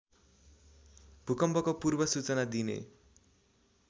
भूकम्पको पूर्वसूचना दिने